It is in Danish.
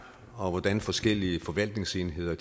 og hvordan forskellige forvaltningsenheder